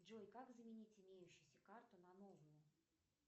джой как заменить имеющуюся карту на новую